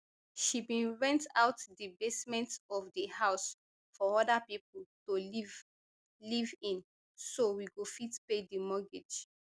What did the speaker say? she bin rent out di basement of di house for oda pipo to live live in so we go fit pay di mortgage